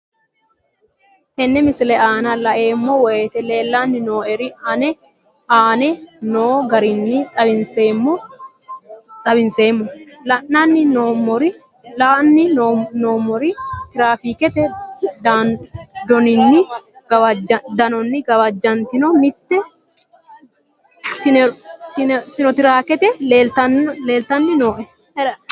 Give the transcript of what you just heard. Tenne misile aana laeemmo woyte leelanni noo'ere aane noo garinni xawiseemmo. La'anni noomorri tiraafikete danonni gawajjantinno mitte sinotiraake leelitanni nooe.